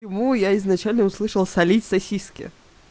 ему я изначально услышала солить сосиски